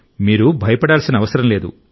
మీరు భయపడాల్సిన అవసరం లేదు